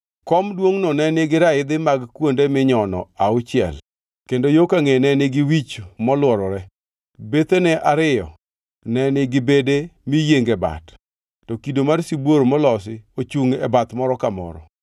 Kom duongʼno ne nigi raidhi mag kuonde minyono auchiel kendo yo kangʼeye ne nigi wich molworore. Bethene ariyo ne nigi bede miyienge bat, ka kido mar sibuor molosi ochungʼ e bath moro ka moro.